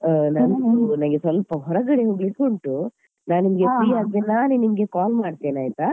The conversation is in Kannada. ನನ್ಗೆ ಸ್ವಲ್ಪ ಹೊರಗಡೆ ಹೋಗ್ಲಿಕ್ಕೆ ಉಂಟು ನಾನ್ ನಿನ್ಗೆ free ಆದ್ಮೇಲೆ ನಾನೇ ನಿನ್ಗೆ call ಮಾಡ್ತೇನೆ ಆಯ್ತಾ.